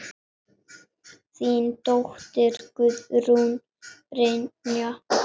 Þín dóttir, Guðrún Brynja.